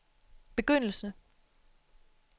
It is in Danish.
begyndelse